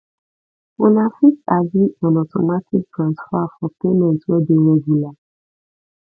una fit agree on automatic transfer for payment wey dey regular